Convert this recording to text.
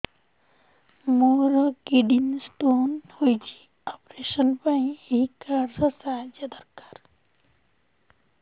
ମୋର kidney stone ହଇଛି operation ପାଇଁ ଏହି କାର୍ଡ ର ସାହାଯ୍ୟ ଦରକାର